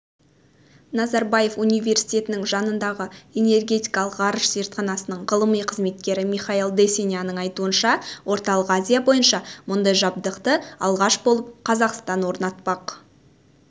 назарбаев университетінің жанындағы энергетикалық ғарыш зертханасының ғылыми қызметкері михаил дессеняның айтуынша орталық азия бойынша мұндай жабдықты алғаш болып қазақстан орнатпақ